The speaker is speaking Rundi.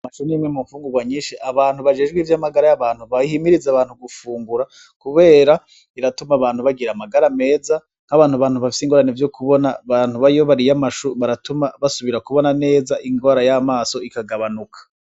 Amashu ni kimwe mu mfungurwa nyinshi, abantu bajejwe ivy'amagara y'abantu bayihimiriza abantu gufungura kubera iratuma abantu bagira amagara meza nk'abantu bafise ingorane zo kubona. Abantu nkabo iyo bariye amashu biratuma basubira kubona neza, ingwara y'amaso ikagabanuka.